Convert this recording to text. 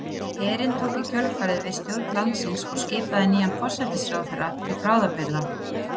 Herinn tók í kjölfarið við stjórn landsins og skipaði nýjan forsætisráðherra til bráðabirgða.